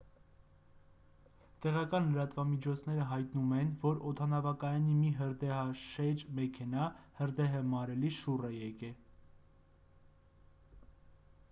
տեղական լրատվամիջոցները հայտնում են որ օդանավակայանի մի հրդեհաշեջ մեքենա հրդեհը մարելիս շուռ է եկել